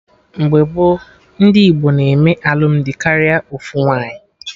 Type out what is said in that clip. Mgbe gboo, ndị Igbo na-eme alụmdi karịa ofu nwaanyị